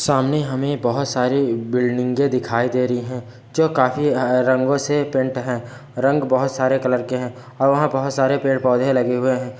सामने हमे बहोत सारे बिल्डिंगे दिखाई दे रही है जो काफ़ी रंगों से पेंट है रंग बहोत सारे कलर के है और वहां पर बहोत सारे पेड़-पौधे लगे हुए है।